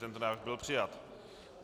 Tento návrh byl přijat.